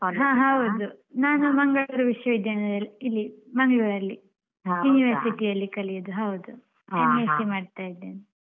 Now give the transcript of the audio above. ಹಾ ಹೌದು ನಾನು ಮಂಗಳೂರು ವಿಶ್ವ ವಿದ್ಯಾಲಯದಲ್ಲಿ ಇಲ್ಲಿ ಮಂಗ್ಳುರಲ್ಲಿ University ಅಲ್ಲಿ ಕಲಿಯುದು ಅಹ್ ಹೌದು MSC ಮಾಡ್ತಾಯಿದ್ದೇನೆ.